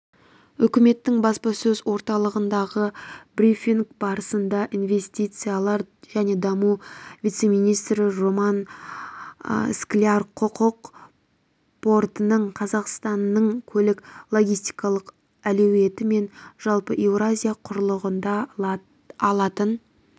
үкіметтің баспасөз орталығындағы брифинг барысында инвестициялар және даму вице-министрі роман скляр құрық портының қазақстанның көлік-логистикалық әлеуеті мен жалпы еуразия құрлығында алатын